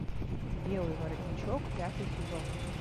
белый воротничок пятый сезон